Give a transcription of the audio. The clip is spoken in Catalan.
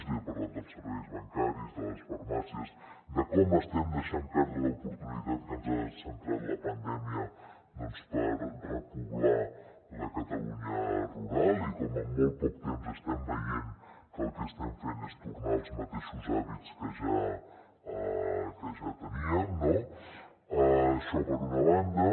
li he parlat dels serveis bancaris de les farmàcies de com estem deixant perdre l’oportunitat que ens ha brindat la pandèmia per repoblar la catalunya rural i de com en molt poc temps estem veient que el que estem fent és tornar als mateixos hàbits que ja teníem no això per una banda